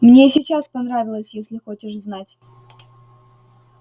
мне и сейчас понравилось если хочешь знать